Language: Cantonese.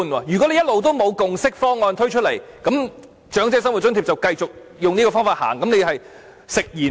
如果一直也不推出共識方案，那麼長者生活津貼便會繼續沿用這個方法，那你便是食言了。